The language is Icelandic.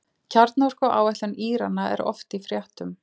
Kjarnorkuáætlun Írana er oft í fréttum.